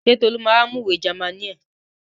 Ṣé Tolú ma wá mú ìwé Jámánì ẹ̀?